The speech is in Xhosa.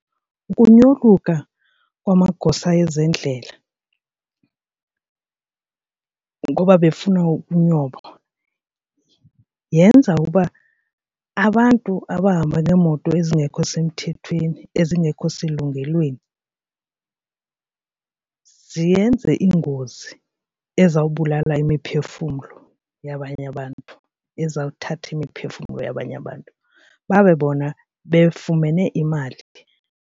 Ukunyoluka kwamagosa ezendlela ngoba befuna ukunyoba yenza ukuba abantu abahamba ngeemoto ezingekho semthethweni ezingekho selungelweni ziyenze iingozi ezawubulala imiphefumlo yabanye abantu, ezawuthatha imiphefumlo yabanye abantu babe bona befumene imali.